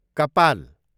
कपाल